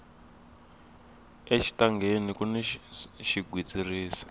exitangeni kuni xigwitsirisi